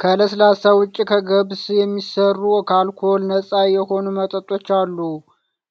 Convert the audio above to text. ከለስላሳ ውጪ ከገብስ የሚሰሩ ከአልኮል ነጻ የሆኑ መጠጦች አሉ።